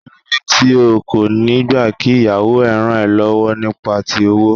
Kíló dé tí o kò niì gbà kí ìyàwó ẹ ràn ọ́ lọ́wọ́ nípa ti owó?